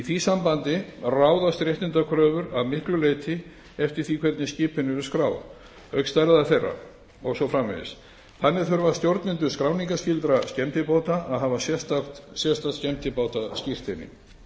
því sambandi ráðast réttindakröfur að miklu leyti eftir því hvernig skipin eru skráð auk stærðar þeirra og svo framvegis þannig þurfa stjórnendur skráningarskyldra skemmtibáta að hafa sérstakt skemmtibátaskírteini